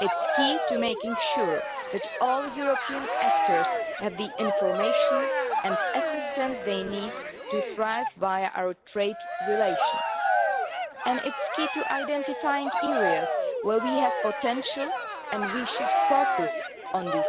it is key to making sure that all European actors have the information and assistance they need to thrive via our trade relations, and it is key to identifying areas where we have potential, and we should focus on